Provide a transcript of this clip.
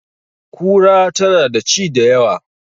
Kura tana da ci da yawa